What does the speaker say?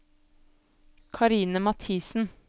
Karine Mathisen